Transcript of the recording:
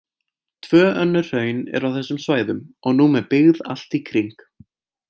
Tvö önnur hraun eru á þessum svæðum og nú með byggð allt í kring.